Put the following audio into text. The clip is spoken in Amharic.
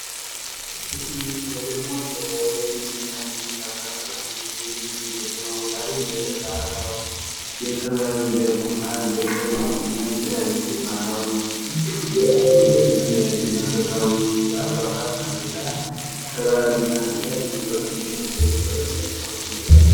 እሺ ይሄ ደግሞ በንግድና ግብይት አካባቢዎች ላይ የሚገኝ ከተማ ቦታዎች ላይ የሚገኝ የባህላዊ የጥበብ እንደ ኩታ እንደ ቀሚስ እና የተለያዩ ባህላዊ እና መንፈሳዊ አልባሳት መሸጫ ነው። ጥበብና የተለያዩ ነገሮች የሚሸጡበት የጥበብ ስራዎች የሚሸጥበት አካባቢ ነው